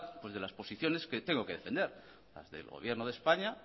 de las posiciones que debo que defender las de el gobierno de españa